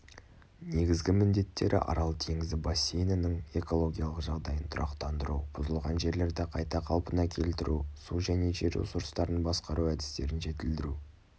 негізгі міндеттері арал теңізі бассейнінің экологиялық жағдайын тұрақтандыру бұзылған жерлерді қайта қалпына келтіру су және жер ресурстарын басқару әдістерін жетілдіру